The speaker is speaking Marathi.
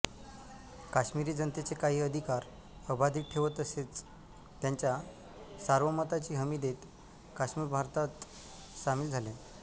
काश्मीरी जनतेचे काही अधिकार अबाधित ठेवत तसेच त्यांच्या सार्वमताची हमी देत काश्मीर भारतात सामील झाले